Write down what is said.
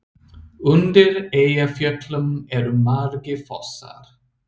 Undir Eyjafjöllum eru margir fossar.